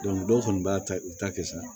dɔw fana b'a ta u ta kɛ sa